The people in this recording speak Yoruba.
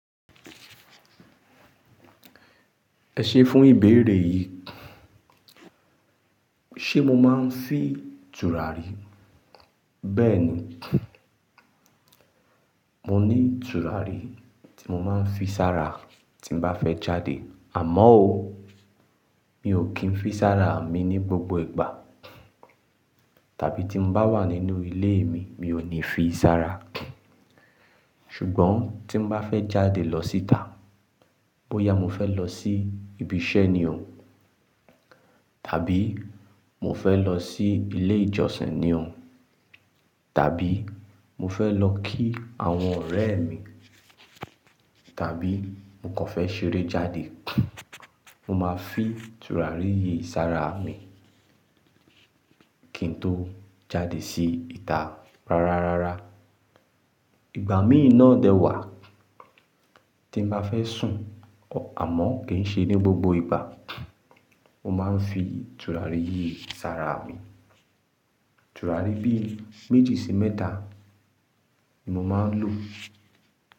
Ẹ ṣé fún ìbéèrè yìí. Ṣé mo máa ń fi tùràrí? Bẹ́ẹ̀ ni, mo ní tùràrí tí mo máa ń fi sára tí mo bá fẹ́ jáde. Àmọ́ ó, mi ò kí ń fi sára mi ní gbogbo ìgbà. Tàbí tí mo bá wà nínú ilé mi, mi ò ní fi sára. Ṣùgbọ́n tí mo bá fẹ́ jáde lọ síta, bóyá mo fẹ́ lọ sí ibi iṣẹ́ ni o, tàbí mo fẹ́ lọ sí ilé ìjọsìn ni o, tàbí mo fẹ́ lọ kí àwọn ọ̀rẹ́ mi, tàbí mo kàn fẹ́ ṣeré jáde, mo máa fi tùràrí yìí sára mi kí n tó jáde sí ìta. Rárá, rárá. Ìgbà mìí na dẹ̀ wà tí m bá fẹ́ sùn, àmọ́ kì í ṣe ní gbogbo ìgbà. Mo máa ń fi tùràrí yìí sára mi. Tùràrí bí méjì sí mẹ́ta ni mo máa ń lò.